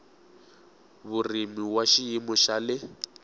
vurimi wa xiyimo xa le